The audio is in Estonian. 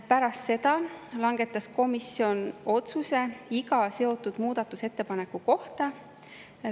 Pärast seda langetas komisjon otsuse iga seotud muudatusettepaneku kohta.